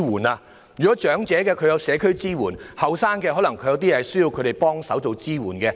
不僅為長者提供社區支援，也可以為年青人提供協助和支援。